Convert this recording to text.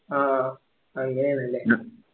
അഹ് ആഹ് ആഹ് അങ്ങനയാന്ന്ല്ലേ